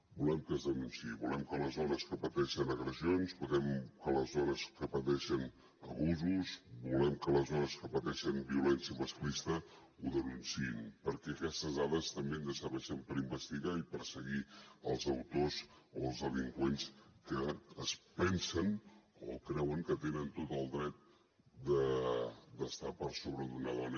volem que es denunciï volem que les dones que pateixen agressions volem que les dones que pateixen abusos volem que els dones que pateixen violència masclista ho denunciïn perquè aquestes dades també ens serveixen per investigar i perseguir els autors o els delinqüents que es pensen o creuen que tenen tot el dret d’estar per sobre d’una dona